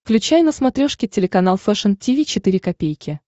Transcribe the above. включай на смотрешке телеканал фэшн ти ви четыре ка